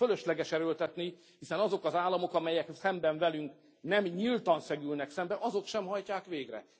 Fölösleges erőltetni, hiszen azok az államok, amelyek szemben velünk nem nyíltan szegülnek szembe, azok sem hajtják végre.